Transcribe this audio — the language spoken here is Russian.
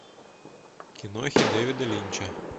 кинохи дэвида линча